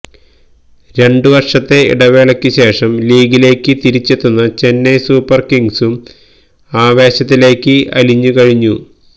രണ്ടുവര്ഷത്തെ ഇടവേളയ്ക്കുശേഷം ലീഗിലേക്ക് തിരിച്ചെത്തുന്ന ചെന്നൈ സൂപ്പര് കിംഗ്സും ആവേശത്തിലേക്ക് അലിഞ്ഞു കഴിഞ്ഞു